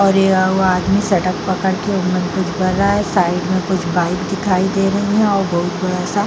और यह वो आदमी सडक़ पकड़ के मन्थन कर रहा है। साइड में कुछ बाइक दिखाई दे रही हैं और बहुत बड़ा सा --